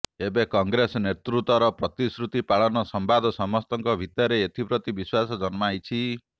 ଏବେ କଂଗ୍ରେସ ନେତୃତ୍ୱର ପ୍ରତିଶ୍ରୁତି ପାଳନ ସମ୍ବାଦ ସମସ୍ତଙ୍କ ଭିତରେ ଏଥିପ୍ରତି ବିଶ୍ୱାସ ଜନ୍ମାଇଛି